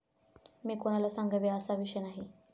मी कोणाला सांगावे असा हा विषय नाही.